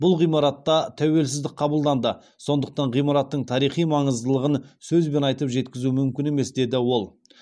бұл ғимаратта тәуелсіздік қабылданды сондықтан ғимараттың тарихи маңыздылығын сөзбен айтып жеткізу мүмкін емес деді ол